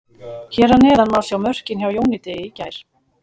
Hér að neðan má sjá mörkin hjá Jóni Degi í gær.